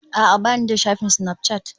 A'a, ba ni da shafin Snapchat